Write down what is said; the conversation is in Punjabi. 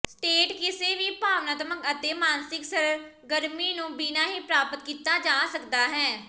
ਸਟੇਟ ਕਿਸੇ ਵੀ ਭਾਵਨਾਤਮਕ ਅਤੇ ਮਾਨਸਿਕ ਸਰਗਰਮੀ ਨੂੰ ਬਿਨਾ ਹੀ ਪ੍ਰਾਪਤ ਕੀਤਾ ਜਾ ਸਕਦਾ ਹੈ